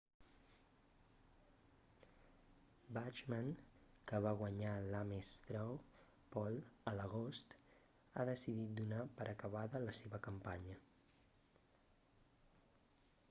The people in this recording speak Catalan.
bachmann que va guanyar l'ames straw poll a l'agost ha decidit donar per acabada la seva campanya